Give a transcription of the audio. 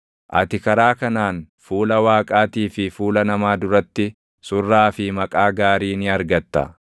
Ati karaa kanaan fuula Waaqaatii fi fuula namaa duratti surraa fi maqaa gaarii ni argatta.